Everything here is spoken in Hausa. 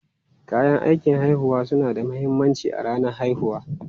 Kayan aikin haihuwa suna da mahimmanci a ranar haihuwa.